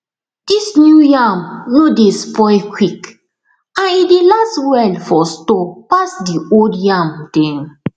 dis new yam no dey spoil quick and e dey last well for store pass the old yam dem